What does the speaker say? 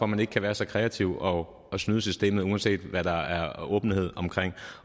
man ikke kan være så kreativ og snyde systemet uanset hvad der er åbenhed omkring